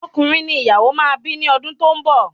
Ọkùnrin ni ìyàwó máa bi ni odun to n bọ